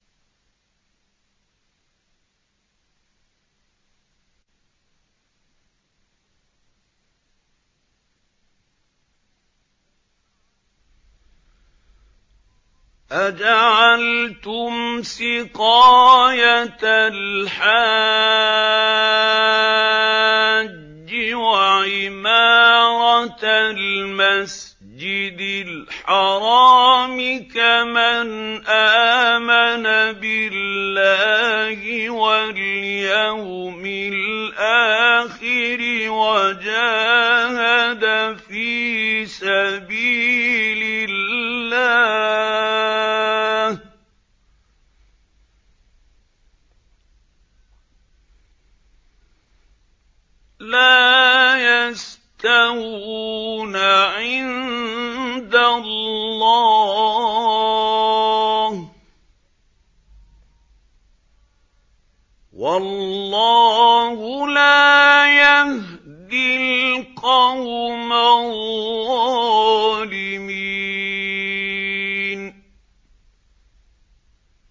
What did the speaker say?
۞ أَجَعَلْتُمْ سِقَايَةَ الْحَاجِّ وَعِمَارَةَ الْمَسْجِدِ الْحَرَامِ كَمَنْ آمَنَ بِاللَّهِ وَالْيَوْمِ الْآخِرِ وَجَاهَدَ فِي سَبِيلِ اللَّهِ ۚ لَا يَسْتَوُونَ عِندَ اللَّهِ ۗ وَاللَّهُ لَا يَهْدِي الْقَوْمَ الظَّالِمِينَ